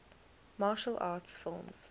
martial arts films